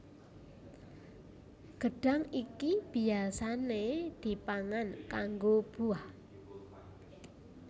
Gedhang iki biyasané dipangan kanggo buah